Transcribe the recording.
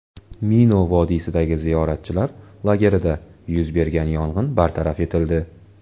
Mino vodiysidagi ziyoratchilar lagerida yuz bergan yong‘in bartaraf etildi.